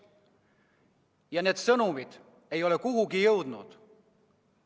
Ja need sõnumid ei ole kuhugi jõudnud.